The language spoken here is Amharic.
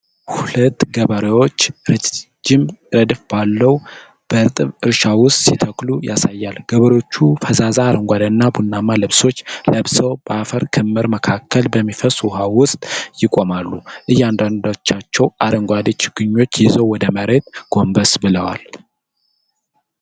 ሁለት ገበሬዎች ረጅም ረድፍ ባለው በእርጥብ እርሻ ውስጥ ሲተክሉ ያሳያል። ገበሬዎቹ ፈዛዛ አረንጓዴና ቡናማ ልብሶች ለብሰው፣ በአፈር ክምር መካከል በሚፈስስ ውኃ ውስጥ ይቆማሉ። እያንዳንዳቸው አረንጓዴ ችግኝ ይዘው ወደ መሬቱ ጎንበስ ብለዋል።